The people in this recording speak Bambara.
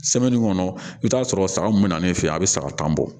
kɔnɔ i bɛ t'a sɔrɔ saga mun bɛna ne fɛ yen a bɛ saga tan bɔ